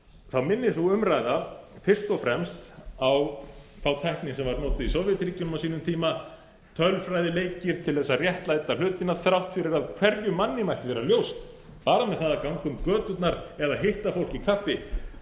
þá minnir sú umræða fyrst og fremst á þá tækni sem var notuð í sovétríkjunum á sínum tíma tölfræðileiki til að réttlæta hlutina þrátt fyrir að hverjum manni mætti vera ljóst bara með því að ganga um göturnar eða hitta fólk í kaffi